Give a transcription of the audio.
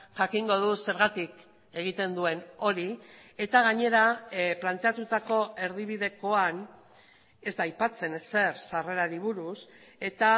jakingo du zergatik egiten duen hori eta gainera planteatutako erdibidekoan ez da aipatzen ezer sarrerari buruz eta